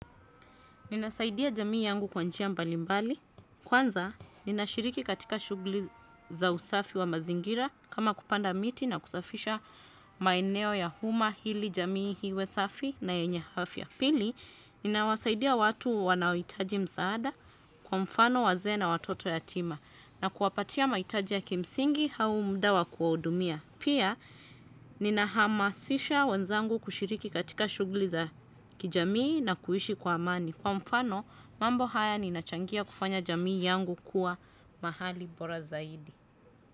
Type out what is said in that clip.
Ninazaidia jamii yangu kwa njia mbali mbali. Kwanza, ninashiriki katika shughuli za usafi wa mazingira kama kupanda miti na kusafisha maeneo ya huma hili jamii hiwe safi na yenye afya. Pili, ninawazaidia watu wanaohitaji mzaada kwa mfano wazee na watoto yatima na kuapatia maitaji ya kimsingi au muda wa kuwaudumia. Pia, ninahamasisha wenzangu kushiriki katika shughuli za kijamii na kuishi kwa amani. Kwa mfano, mambo haya ninachangia kufanya jamii yangu kuwa mahali bora zaidi.